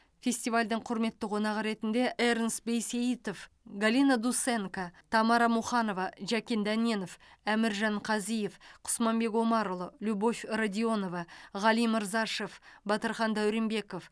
фестивальдің құрметті қонағы ретінде эрнст бейсеитов галина дусенко тамара муханова жәкен дәненов әміржан қазиев құсманбек омарұлы любовь радионова ғали мырзашев батырхан дәуренбеков